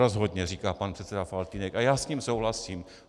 Rozhodně, říká pan předseda Faltýnek a já s ním souhlasím.